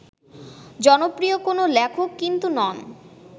জনপ্রিয় কোনো লেখক কিন্তু নন